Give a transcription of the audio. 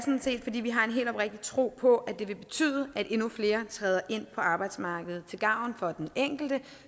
set fordi vi har en helt oprigtig tro på at det vil betyde at endnu flere træder ind på arbejdsmarkedet til gavn for den enkelte